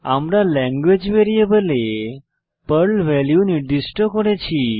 আমরা ল্যাঙ্গুয়েজ ভ্যারিয়েবলে Perl value নির্দিষ্ট করেছি